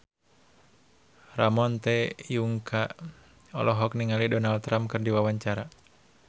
Ramon T. Yungka olohok ningali Donald Trump keur diwawancara